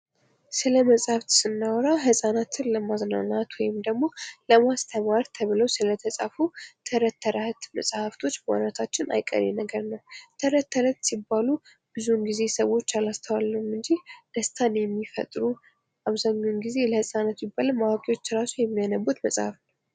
ስለመጽሃፍት ስናወራ ህጻናትን ለማዝናናት ወይም ደግሞ ለማስተማር ተብለው ስለተጻፉ ተረት ተረት መጽሃፍቶች ማውራታችን አይቀሬ ነገር ነው። ተረት ተረት ሲባሉ ብዙውን ጊዜ ሰዎች አላስተዋልነውም እንጂ ደስታን የሚፈጥሩ አብዛኛውን ጊዜ ለሕጻናት ይባል እንጂ አዋቂዎችም የሚያነቡት መጽሃፍ ነው።